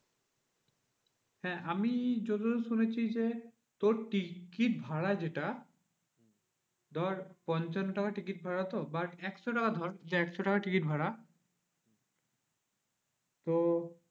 হ্যাঁ আমি যতদূর শুনেছি যে, তোর টিকিট ভাড়া যেটা ধর পঞ্চান্ন টাকা টিকিট ভাড়া তো বা একশো টাকা ধর যে একশো টাকা টিকিট ভাড়া। তো